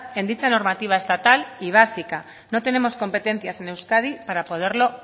en dicha normativa estatal y básica no tenemos competencias en euskadi para poderlo